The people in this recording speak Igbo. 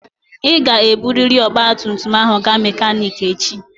Ị ga-eburịrị ọgba tum tum ahụ gaa mekaniki echi!